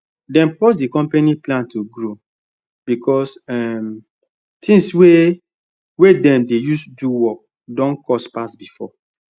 dem pause the company plan to grow because um things wey wey dem dey use do work don cost pass before